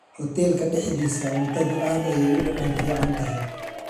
Hoteelka dhexdiisa, cuntadu aad ayay u dhadhan fiican tahay.